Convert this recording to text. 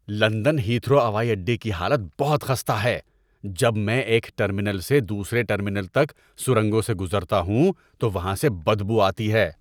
London Heathrow ہوائی اڈے کی حالت بہت خستہ ہے۔ جب میں ایک ٹرمینل سے دوسرے ٹرمینل تک سرنگوں سے گزرتا ہوں تو وہاں سے بدبو آتی ہے۔